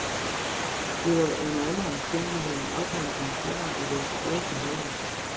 Det var under alle omstændigheder en opmuntring for mig at være tilbage på holdet.